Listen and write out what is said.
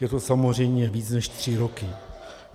Je to samozřejmě více než tři roky.